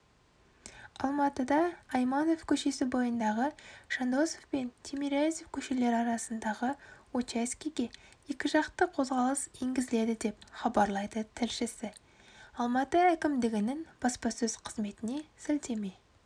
алматыда айманов көшесі бойындағыі жандосов пен тимирязев көшелері арасындағы учаскеге екіжақты қозғалыс енгізіледі деп хабарлайды тілшісі алматы әкімдігінің баспасөз қызметіне сілтеме